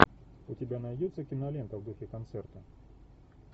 у тебя найдется кинолента в духе концерта